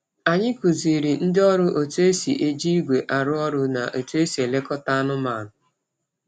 Anyị kụziri ndị ọrụ otu esi eji igwe arụ ọrụ na otu esi elekọta anụmanụ.